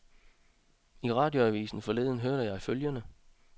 I radioavisen forleden hørte jeg følgende.